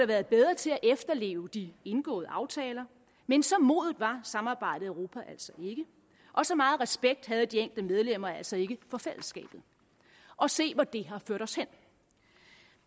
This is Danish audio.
været bedre til at efterleve de indgåede aftaler men så modent var samarbejdet i europa altså ikke og så meget respekt havde de enkelte medlemmer altså ikke for fællesskabet og se hvor det har ført os hen